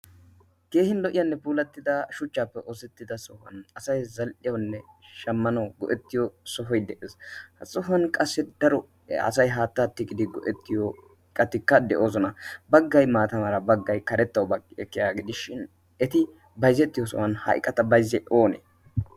keehin lo77iyaanne puulattida shuchchaappe oosettida sohuwan asai zal77hiyaunne shammano go7ettiyo sohoi de7ees. ha sohuwan qassi daro asai haattaa tiqidi go7ettiyo iqatikka de7oosona. baggai maatamaara baggai karettau bagqi ekkiya gidishshin eti baizzettiyo sohuwan ha iqata baizze oonee?